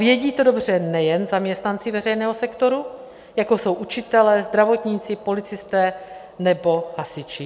Vědí to dobře nejen zaměstnanci veřejného sektoru, jako jsou učitelé, zdravotníci, policisté nebo hasiči.